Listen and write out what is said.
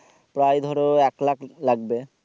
প্রায় ধরো এক লাখ লাগবে